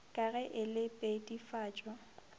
ka ge e le pedifatšo